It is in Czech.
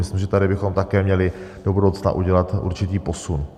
Myslím, že tady bychom také měli do budoucna udělat určitý posun.